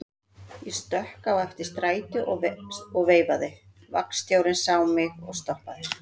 Ég stökk á eftir strætó og veifaði, vagnstjórinn sá mig og stoppaði.